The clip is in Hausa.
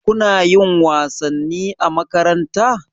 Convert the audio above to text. Kuna yin wasanni a makaranta?